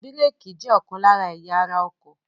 Bírèkì jẹ́ ọ̀kan lára ẹ̀yà ara ọkọ̀.